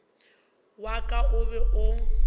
wa ka o be o